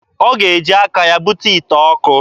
Ọ ga-eji aka ya bute ite ọkụ.